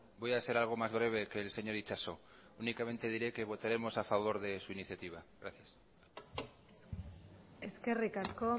voy a ser algo más breve que el señor itxaso únicamente diré que votaremos a favor de su iniciativa gracias eskerrik asko